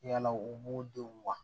Yala u b'u denw wa